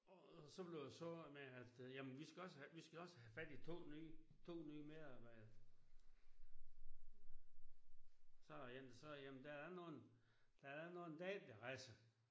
Og så blev det så med at øh jamen vi skal også have vi skal også have fat i to nye to nye medarbejdere så ja så jamen der er nogen der er nogen der ikke vil rejse